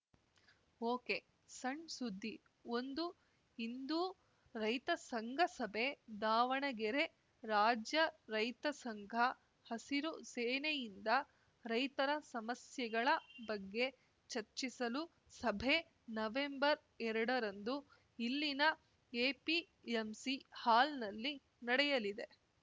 ಒಕೆಸಣ್‌ ಸುದ್ದಿ ಒಂದು ಇಂದು ರೈತ ಸಂಘ ಸಭೆ ದಾವಣಗೆರೆ ರಾಜ್ಯ ರೈತ ಸಂಘ ಹಸಿರು ಸೇನೆಯಿಂದ ರೈತರ ಸಮಸ್ಯೆಗಳ ಬಗ್ಗೆ ಚರ್ಚಿಸಲು ಸಭೆ ನವೆಂಬರ್ಎರಡರಂದು ಇಲ್ಲಿನ ಎಪಿಎಂಸಿ ಹಾಲ್‌ನಲ್ಲಿ ನಡೆಯಲಿದೆ